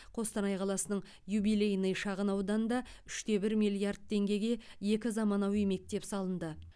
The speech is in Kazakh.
қостанай қаласының юбилейный шағынауданында үш те бір миллиард теңгеге екі заманауи мектеп салынды